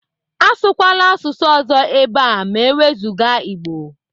Asụkwala asụsụ ọzọ ebe a ma ewezuga Igbo.